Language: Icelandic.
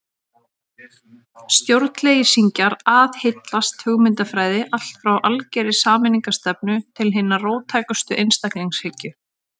Stjórnleysingjar aðhyllast hugmyndafræði allt frá algerri sameignarstefnu til hinnar róttækustu einstaklingshyggju.